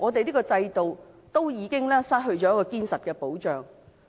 這個制度已經失去堅實的保障。